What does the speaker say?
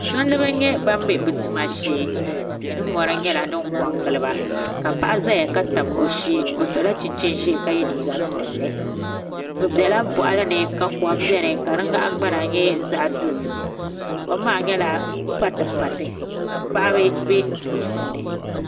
Tumtumdiba n nyɛ ban bɛ bi tuma shee tihi ni mori nyɛla din ko n giliba ka paɣa ʒɛya ka tabi o shee ka yɛ liiga piɛlli bi biɛla boɣali ni ka kom biɛni ka di nahangbana nyɛ zaɣ dozim kom maa nyɛla pati pati ka paɣaba bɛ di puuni